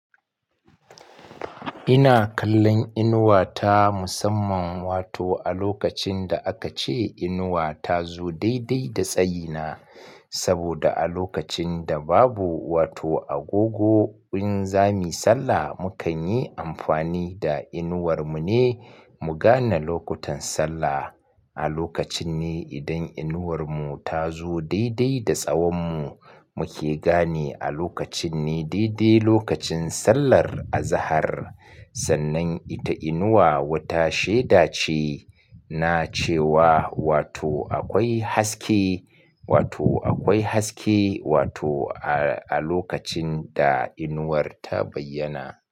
Ina kallon inuwa ta musamman, wato a lokacin da aka ce inuwa ta zo daidai da tsayi na. Saboda a lokacin da babu wato agogo in za muyi sallah, mukan yi amfani da inuwar mu ne mu gane lokutan sallah. A lokacin ne idan inuwar mu ta zo daidai da tsawon mu, muke gane a lokacin ne daidai lokacin sallar azahar. Sannan ita inuwa wata shaida ce na cewa wato akwai haske, wato akwai haske, wato a lokacin da inuwar ta bayyana.